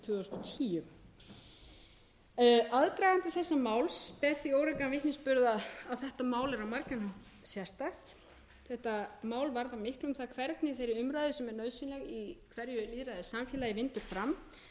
tvö þúsund og tíu aðdragandi þessa máls ber því órækan vitnisburð að þetta mál er á margan hátt sérstakt þetta mál varðar miklu um það hvernig þeirri umræðu sem er nauðsynleg í hverju lýðræðissamfélagi vindur fram